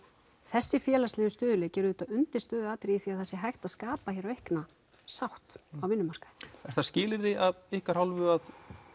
þessi félagslegi stöðugleiki er auðvitað undirstöðuatriði í því að það sé hægt að skapa hér aukna sátt á vinnumarkaði er það skilyrði að ykkar hálfu að